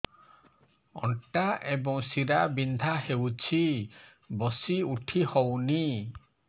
ଅଣ୍ଟା ଏବଂ ଶୀରା ବିନ୍ଧା ହେଉଛି ବସି ଉଠି ହଉନି